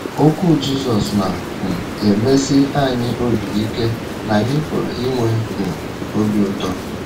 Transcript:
Okwu Jizọs na - um emesi anyị obi ike na anyị pụrụ inwe um obi ụtọ.